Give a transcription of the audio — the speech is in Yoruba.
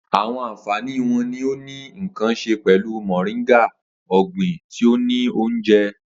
Awọn anfani wo ni o ni nkan ṣe pẹlu Moringa, ọgbin ti o ni ounjẹ?